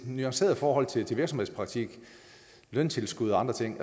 nuanceret forhold til virksomhedspraktik løntilskud og andre ting